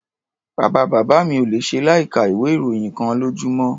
Bàbá-bàbá mi ò le ṣe láìka ìwé-ìròyìn kan lójúmọ́.